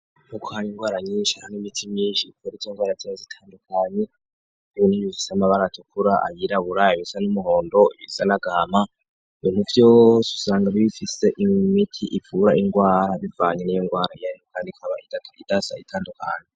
Nk'uko hari indwara nyinshi, hari n'imiti myinshi ivura izo ndwara zose zitandukanye, ibi n'ibifise amabara atukura, ayirabura, ayasa n'umuhondo, ibisa n'agahama, ibintu vyose usanga bifise imiti ivura indwara bivanye n'iyo ndwara iyo ariyo, kandi ikaba idasa itandukanye.